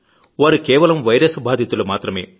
వారు కేవలం వైరస్ బాధితులు మాత్రమే